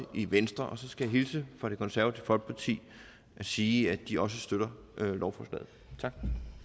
i venstre og så skal jeg hilse fra det konservative folkeparti og sige at de også støtter lovforslaget tak